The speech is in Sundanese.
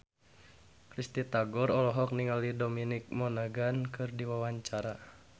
Risty Tagor olohok ningali Dominic Monaghan keur diwawancara